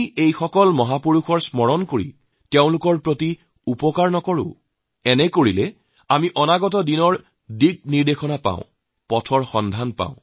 এই সকল মহাপুৰুষক স্মৰণ কৰিলে তেওঁলোকৰ কোনেও উপকাৰ কৰা নহয় আমি এওঁলোকক স্মৰণ কৰি যাতে আগলৈ আগুৱাই যোৱাৰ পথ বিচাৰি পাও যাৰ দ্বাৰা ভৱিষ্যতৰ বাবে সঠিক দিশ নিৰ্দেশনা পাওঁ